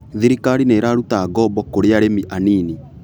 Thirikari nĩiraruta ngombo kũrĩ arĩmi anini.